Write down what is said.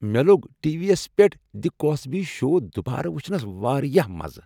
مےٚ لوٚگ TV یس پیٹھ "دی کوسبی شو" دوبارٕ وٕچھنس واریاہ مزٕ۔